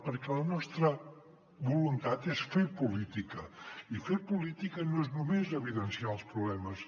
perquè la nostra voluntat és fer política i fer política no és només evidenciar els problemes